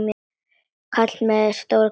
Kall með stóra skúffu.